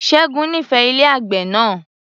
Ṣẹ́gun nífẹẹ ilé àgbè náà